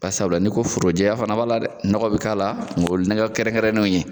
Ba sabula ni ko foro jɛya fana b'a la dɛ nɔgɔ bi k'a la nga o ye nɔgɔ kɛrɛnkɛrɛnnenw ye